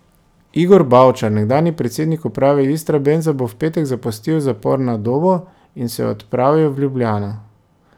Igor Bavčar, nekdanji predsednik uprave Istrabenza, bo v petek zapustil zapor na Dobu in se odpravil v Ljubljano.